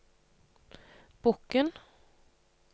Bokn